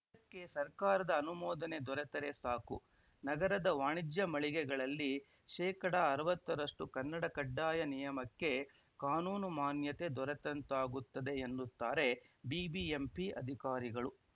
ಇದಕ್ಕೆ ಸರ್ಕಾರದ ಅನುಮೋದನೆ ದೊರತರೆ ಸಾಕು ನಗರದ ವಾಣಿಜ್ಯ ಮಳಿಗೆಗಳಲ್ಲಿ ಶೇಕಡಾಅರವತ್ತರಷ್ಟುಕನ್ನಡ ಕಡ್ಡಾಯ ನಿಯಮಕ್ಕೆ ಕಾನೂನು ಮಾನ್ಯತೆ ದೊರೆತಂತಾಗುತ್ತದೆ ಎನ್ನುತ್ತಾರೆ ಬಿಬಿಎಂಪಿ ಅಧಿಕಾರಿಗಳು